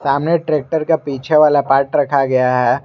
सामने ट्रैक्टर का पीछे वाला पार्ट रखा गया है।